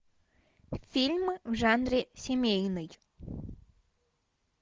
фильмы в жанре семейный